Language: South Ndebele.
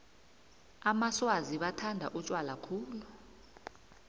amaswazi bathanda utjwala khulu